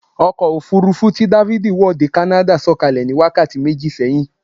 Ọkọ̀ òfurufú tí dáfídì wọ̀ dé kánádà sọ̀kalẹ̀ ní wákàtí méjì sẹ́yìn